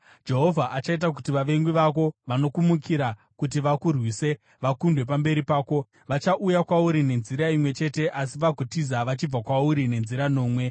Jehovha achaita kuti vavengi vako, vanokumukira kuti vakurwise, vakundwe pamberi pako. Vachauya kwauri nenzira imwe chete asi vagotiza vachibva kwauri nenzira nomwe.